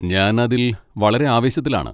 ഞാൻ അതിൽ വളരെ ആവേശത്തിലാണ്.